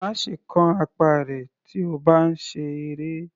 Má ṣe kán apá rẹ̀ tí o bá ń ṣe eré.